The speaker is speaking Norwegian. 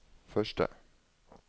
første